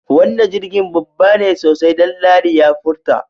Wannan jirgi babba ne sosai Danladi ya furta.